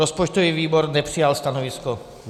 Rozpočtový výbor nepřijal stanovisko.